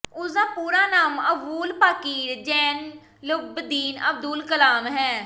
ਉਸਦਾ ਪੂਰਾ ਨਾਮ ਅਵੂਲ ਪਾਕੀਰ ਜੈਨੂਲਬਦੀਨ ਅਬਦੁੱਲ ਕਲਾਮ ਹੈ